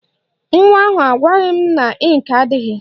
Nwa ahụ agwaghị m na ịnkị adịghị